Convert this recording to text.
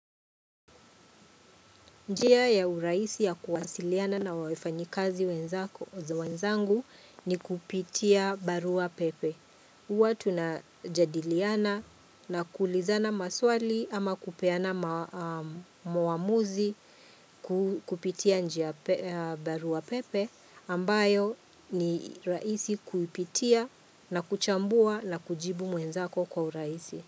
Njia ya uraisi ya kuwasiliana na wafanyikazi wenzako za wenzangu ni kupitia barua pepe. Uwa tuna jadiliana na kulizana maswali ama kupeana muamuzi kupitia barua pepe ambayo ni raisi kuipitia na kuchambua na kujibu mwenzako kwa uraisi.